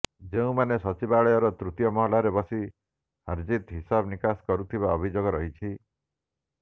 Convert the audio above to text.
ଯେଉଁମାନେ ସଚିବାଳୟର ତୃତୀୟ ମହଲାରେ ବସି ହାର୍ଜିତ୍ର ହିସାବନିକାଶ କରୁଥିବା ଅଭିଯୋଗ ରହିଛି